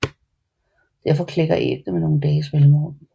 Derfor klækker æggene med nogle dages mellemrum